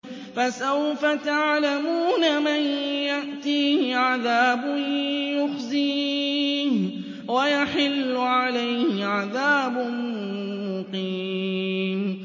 فَسَوْفَ تَعْلَمُونَ مَن يَأْتِيهِ عَذَابٌ يُخْزِيهِ وَيَحِلُّ عَلَيْهِ عَذَابٌ مُّقِيمٌ